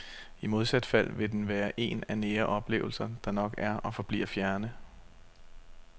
I modsat fald vil den være en af nære oplevelser, der nok er og forbliver fjerne.